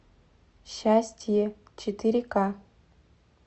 счастье четыре ка